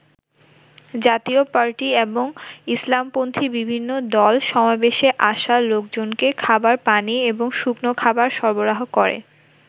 জাতীয় পার্টি এবং ইসলামপন্থী বিভিন্ন দল সমাবেশে আসা লোকজনকে খাবার পানি এবং শুকনো খাবার সরবরাহ করে।